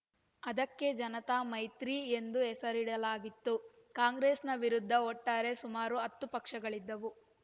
ಅದಕ್ಕೆ ಜನತಾ ಮೈತ್ರಿ ಎಂದು ಹೆಸರಿಡಲಾಗಿತ್ತು ಕಾಂಗ್ರೆಸ್‌ನ ವಿರುದ್ಧ ಒಟ್ಟಾರೆ ಸುಮಾರು ಹತ್ತು ಪಕ್ಷಗಳಿದ್ದವು